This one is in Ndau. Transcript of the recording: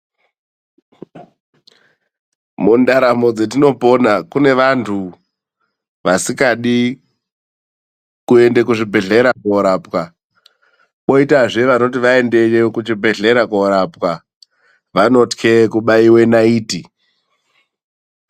Mundaramo dzatinopona kune vantu vasingadi kuenda kuzvibhedhlera korapwa. Koitazve vanoti vaendeyo kuchibhedhlera korapwa vanotye kubaiwa naiti.